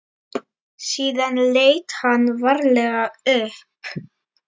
Síðan leit hann varlega upp.